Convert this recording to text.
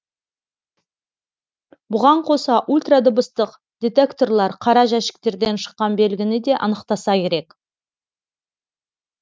бұған қоса ультрадыбыстық детекторлар қара жәшіктерден шыққан белгіні де анықтаса керек